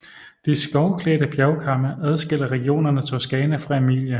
De skovklædte bjergkamme adskiller regionerne Toscana fra Emilia